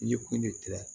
I ye ko ne kɛlɛ